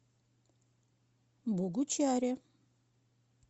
богучаре